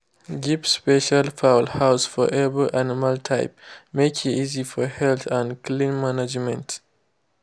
give special fowl house for every animal type make e easy for health and clean mangement